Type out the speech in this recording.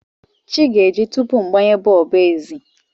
Chi ga-eji tupu m gbanye bọlbụ ezi.